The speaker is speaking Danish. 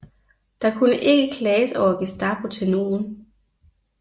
Der kunne ikke klages over Gestapo til nogen